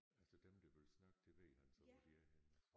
Altså dem der vil snakke det ved han så hvor de er henne